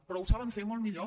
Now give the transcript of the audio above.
però ho saben fer molt millor